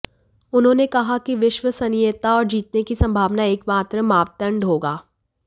उन्होंने कहा कि विश्वसनीयता और जीतने की संभावना एकमात्र मापदंड होगा